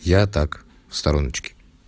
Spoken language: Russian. я так в стороночке